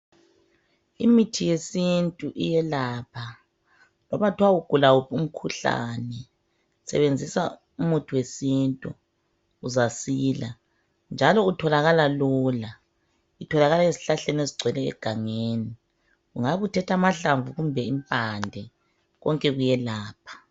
Imithi yesintu iyelapha loba kuthwa ugula wuphi umkhuhlane, sebenzisa umuthi wesintu uzasila njalo utholakala lula, utholakala ezihlahleni ezigcwele egangeni ungabuthethe amahlamvu kumbe impande konke kuyelapha.